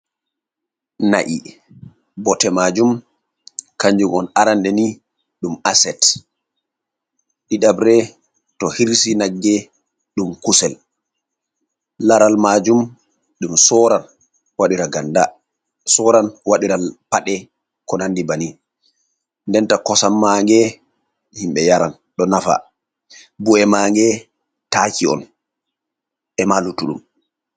Na’i botte majum kanjum on arande ni ɗum aset, ɗiɗabre to hirsi nagge ɗum kusel, laral majum ɗum sorran waɗira ganda sorran waɗiran paɗe. ko nandi bani nden nden ta kosam mange himɓe yaran ɗo nafa bu’e mange taaki on emaluttuɗum.